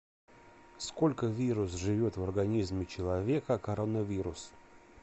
сколько вирус живет в организме человека коронавирус